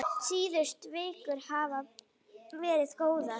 Síðustu vikur hafa verið góðar.